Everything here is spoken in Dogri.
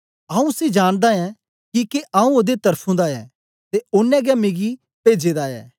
आऊँ उसी जानदा ऐं किके आऊँ ओदे त्र्फुं दा ऐं ते ओनें गै मिगी पेजे दा ऐ